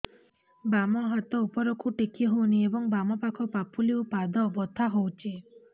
ବାମ ହାତ ଉପରକୁ ଟେକି ହଉନି ଏବଂ ବାମ ପାଖ ପାପୁଲି ଓ ପାଦ ବଥା ହଉଚି